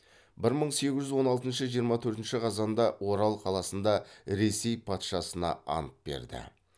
бір мың сегіз жүз он алтыншы жиырма төртінші қазанда орал қаласында ресей патшасына ант берді